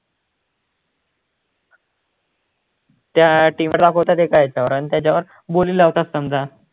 त्या team ला येतं आणि त्याच्यावर बोली लावतात समजा